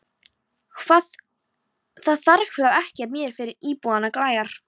Það hvarflar ekki að mér fyrr en íbúðin gljáir.